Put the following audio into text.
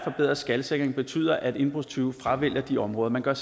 en bedre skalsikring betyder at indbrudstyve fravælger de områder man gør